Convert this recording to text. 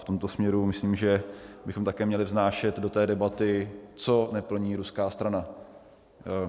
V tomto směru myslím, že bychom také měli vnášet do té debaty, co neplní ruská strana.